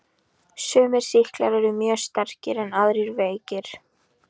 Sumir sýklar eru mjög sterkir en aðrir veikir.